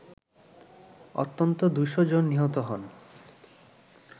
অন্তত ২শ’ জন নিহত হন